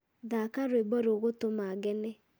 thaaka rũĩmbo rũgũtũma ngene